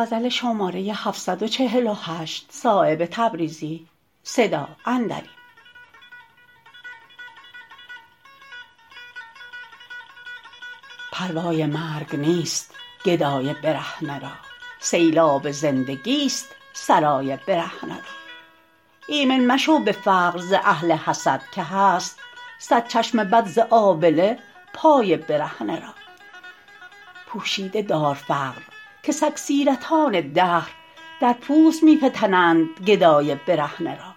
پروای مرگ نیست گدای برهنه را سیل آب زندگی است سرای برهنه را ایمن مشو به فقر ز اهل حسد که هست صد چشم بد ز آبله پای برهنه را پوشیده دار فقر که سگ سیرتان دهر در پوست می فتند گدای برهنه را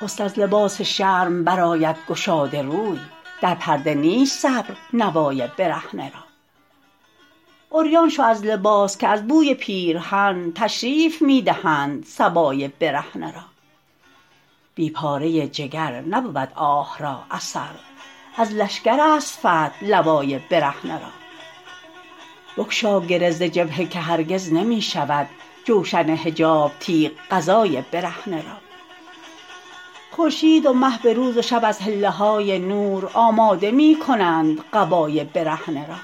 حسن از لباس شرم برآید گشاده روی در پرده نیست صبر نوای برهنه را عریان شو از لباس که از بوی پیرهن تشریف می دهند صبای برهنه را بی پاره جگر نبود آه را اثر از لشکرست فتح لوای برهنه را بگشا گره ز جبهه که هرگز نمی شود جوشن حجاب تیغ قضای برهنه را خورشید و مه به روز و شب از حله های نور آماده می کنند قبای برهنه را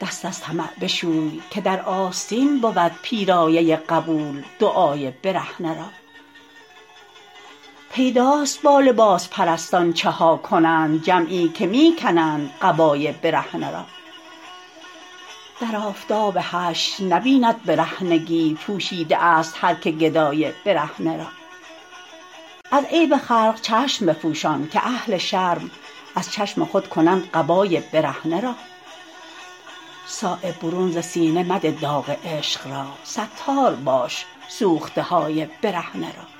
دست از طمع بشوی که در آستین بود پیرایه قبول دعای برهنه را پیداست با لباس پرستان چها کنند جمعی که می کنند قبای برهنه را در آفتاب حشر نبیند برهنگی پوشیده است هر که گدای برهنه را از عیب خلق چشم بپوشان که اهل شرم از چشم خود کنند قبای برهنه را صایب برون ز سینه مده داغ عشق را ستار باش سوخته های برهنه را